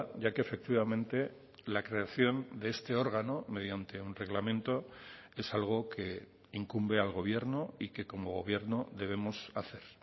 ya que efectivamente la creación de este órgano mediante un reglamento es algo que incumbe al gobierno y que como gobierno debemos hacer